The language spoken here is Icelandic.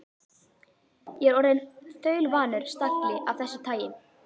Ég er orðinn þaulvanur stagli af þessu tagi.